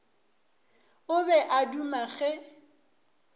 o be a duma ge